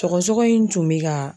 Sɔgɔsɔgɔ in tun bɛ ka